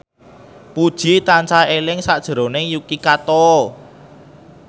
Puji tansah eling sakjroning Yuki Kato